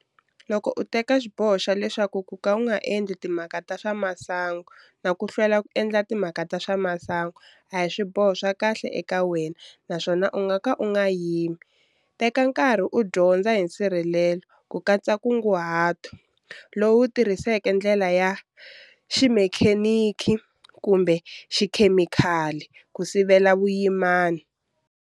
Loko u teka xiboho xa leswaku ku ka u nga endli timhaka ta swa masangu na ku hlwela ku endla timhaka ta swa masangu a hi swiboho swa kahle eka wena naswona u ngaka u nga yimi, teka nkarhi u dyondza hi nsirhelelo, ku katsa nkunguhato, lowu tirhisaka ndlela ya, ximekheniki kumbe xikhemikali, ku sivela vuyimani.